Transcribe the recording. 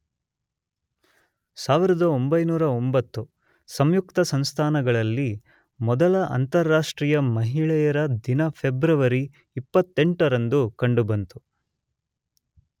೧೯೦೯, ಸಂಯುಕ್ತ ಸಂಸ್ಥಾನಗಳಲ್ಲಿ ಮೊದಲ ಅಂತರಾಷ್ಟ್ರೀ ಯ ಮಹಿಳೆಯರ ದಿನ ಫೆಬ್ರವರಿ ೨೮ ರಂದು ಕಂಡು ಬಂತು.